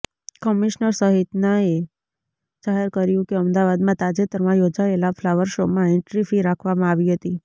commissioner સહિતનાએ જાહેર કર્યું કે અમદાવાદમાં તાજેતરમાં યોજાયેલા ફલાવર શોમાં એન્ટ્રી ફી રાખવામાં આવી હતી